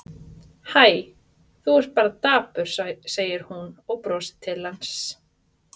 Hæ, þú ert bara dapur, segir hún og brosir til hans.